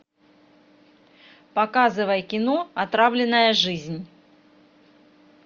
показывай кино отравленная жизнь